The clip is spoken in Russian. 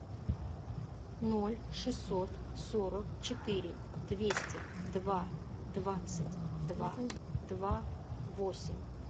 ноль шестьсот сорок четыре двести два двадцать два два восемь